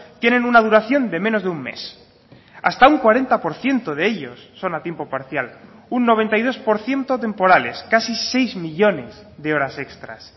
tienen una duración de menos de un mes hasta un cuarenta por ciento de ellos son a tiempo parcial un noventa y dos por ciento temporales casi seis millónes de horas extras